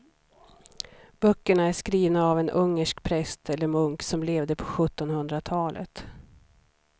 Böckerna är skrivna av en ungersk präst eller munk som levde på sjuttonhundratalet.